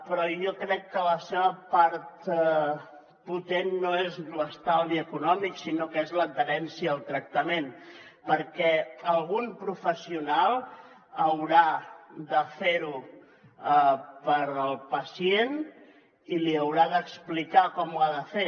però jo crec que la seva part potent no és l’estalvi econòmic sinó que és l’adherència al tractament perquè algun professional haurà de fer ho pel pacient i li haurà d’explicar com ho ha de fer